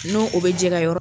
N'o o bɛ jɛ ka yɔrɔ